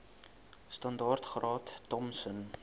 standaard graad thompson